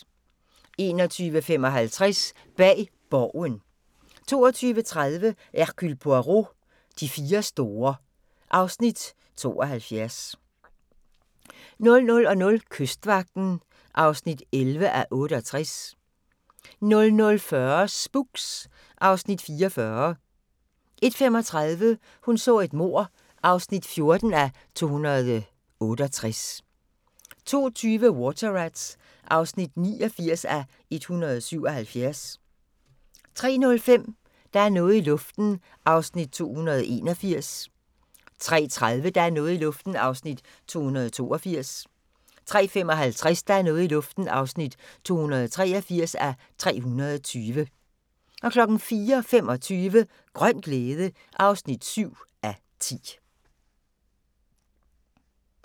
21:55: Bag Borgen 22:30: Hercule Poirot: De fire store (Afs. 72) 00:00: Kystvagten (11:68) 00:40: Spooks (Afs. 44) 01:35: Hun så et mord (14:268) 02:20: Water Rats (89:177) 03:05: Der er noget i luften (281:320) 03:30: Der er noget i luften (282:320) 03:55: Der er noget i luften (283:320) 04:25: Grøn glæde (7:10)